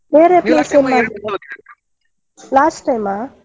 ಹ್ಮ್ last time ಆ.